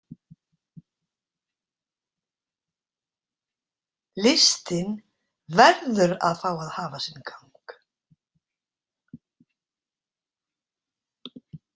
Listin verður að fá að hafa sinn gang.